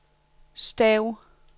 stav